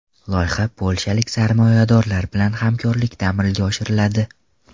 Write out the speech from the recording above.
Loyiha polshalik sarmoyadorlar bilan hamkorlikda amalga oshiriladi.